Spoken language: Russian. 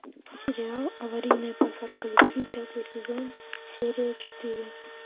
сериал аварийная посадка любви пятый сезон серия четыре